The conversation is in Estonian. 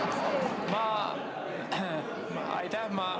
Aitäh!